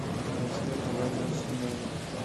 рустем иванович семенов